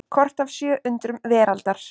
Kort af sjö undrum veraldar.